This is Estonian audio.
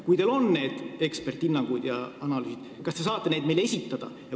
Kui teil on need eksperdihinnangud ja analüüsid olemas, kas te saate need meile esitada?